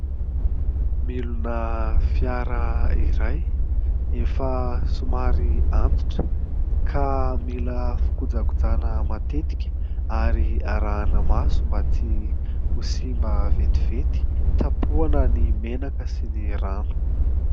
Milina fiara iray efa somary antitra ka mila fikojakojana matetika ary arahina maso mba tsy ho simba vetivety. Tapohana ny menaka sy ny rano.